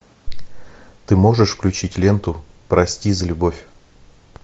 ты можешь включить ленту прости за любовь